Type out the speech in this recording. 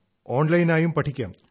ഓൺലൈനായും പഠിക്കാം